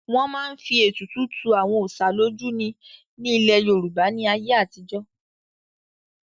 wọ́n máa ń fi ètùtù tu àwọn òsà lójú ni ní ilẹ̀ yorùbá ní ayé àtijọ́